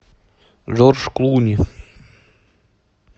джордж клуни